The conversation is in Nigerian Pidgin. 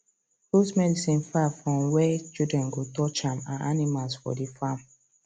put medicine far from where children go touch am and animals for the farm